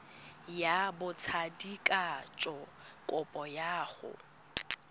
ya botsadikatsho kopo ya go